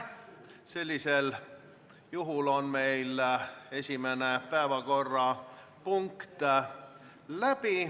Sellisel juhul on meil esimene päevakorrapunkt läbi.